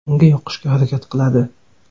Unga yoqishga harakat qiladi.